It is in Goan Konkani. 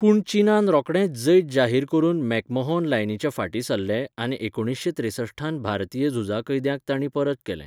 पूण चीनान रोखडेंच जैत जाहीर करून मॅकमहोन लायनीच्या फाटीं सरलें आनी एकुणशे त्रेसठांत भारतीय झुजा कैद्यांक तांणी परत केले.